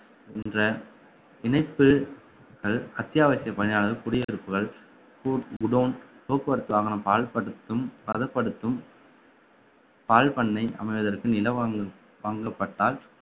என்ற இணைப்பு அது அத்தியாவசிய பணியாளர் குடியிருப்புகள் குர்~ godown போக்குவரத்து வாகனம் பாழ்படுத்தும்~ பதப்படுத்தும் பால் பண்ணை அமைவதற்கு நில வாங்கல்~ வாங்கப்பட்டால்